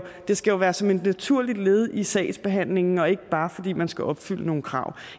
det skal jo være som et naturligt led i sagsbehandlingen og ikke bare fordi man skal opfylde nogle krav